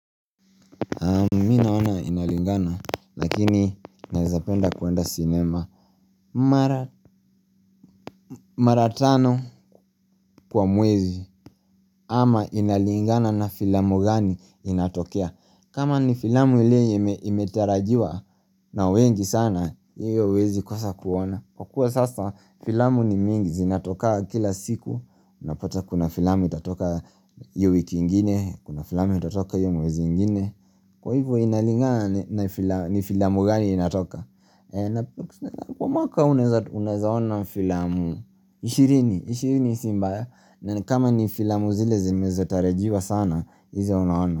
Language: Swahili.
Mimi naona inalingana, lakini nawezapenda kuenda sinema mara mara tano kwa mwezi ama inalingana na filamu gani inatokea. Kama ni filamu iliyo imetarajiwa na wengi sana, hiyo huwezi kosa kuona. Kwa kuwa sasa filamu ni mingi zinatokanga kila siku, unapata kuna filamu itatoka hiyo wiki ingine, kuna filamu itatoka hiyo mwezi ingine. Kwa hivyo inalinga ni filamu gani inatoka Kwa mmaka unaezaona filamu 20 20 si mbaya na kama ni filamu zile zimezatarajiwa sana hizo unaona.